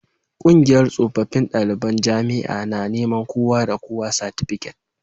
Kungiyar tsofaffin daliban jami'a tana neman kowa da kowa satifiket